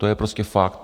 To je prostě fakt.